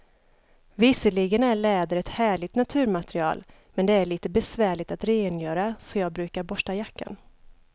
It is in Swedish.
Visserligen är läder ett härligt naturmaterial, men det är lite besvärligt att rengöra, så jag brukar borsta jackan.